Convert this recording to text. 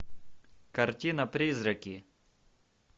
картина призраки